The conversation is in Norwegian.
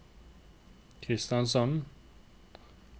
Kristiansand